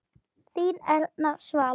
Þín Erna Svala.